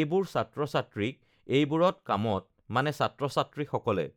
এইবোৰ ছাত্ৰ-ছাত্ৰীক এইবোৰত কামত মানে ছাত্ৰ-ছাত্ৰীসকলে